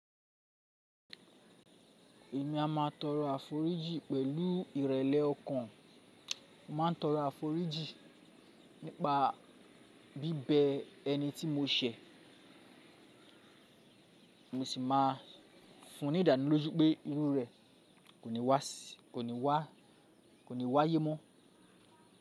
Èmi a máa tọrọ àforíjì pẹ̀lú ìrẹ̀lẹ̀ ọkàn. Má a tọrọ àforíjì nípa bíbẹ ẹni tí mo ṣẹ̀, mo sì máa fún ní ìdánilójú pé irú rẹ̀ ko ni wa si kò ní wá yé mọ́.